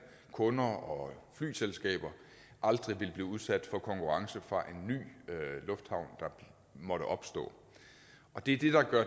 kunder og flyselskaber vil blive udsat for konkurrence fra en ny lufthavn der måtte opstå og det er det der gør